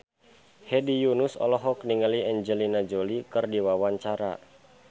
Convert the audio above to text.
Hedi Yunus olohok ningali Angelina Jolie keur diwawancara